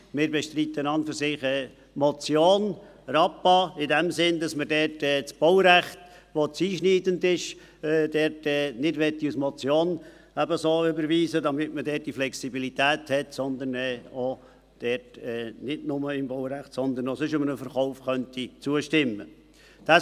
Wir bestreiten an und für sich die Motion Rappa in dem Sinn, dass wir dort das Baurecht, das zu einschneidend ist, nicht als Motion überweisen möchten, damit wir dort die Flexibilität haben, sodass wir nicht nur im Baurecht, sondern auch sonst einem Verkauf zustimmen könnten.